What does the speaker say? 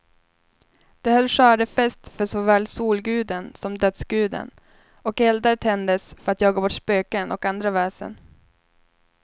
De höll skördefest för såväl solguden som dödsguden, och eldar tändes för att jaga bort spöken och andra väsen.